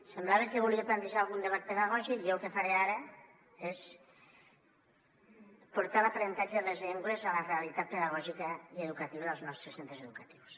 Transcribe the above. semblava que volia plantejar algun debat pedagògic i jo el que faré ara és portar l’aprenentatge de les llengües a la realitat pedagògica i educativa dels nostres centres educatius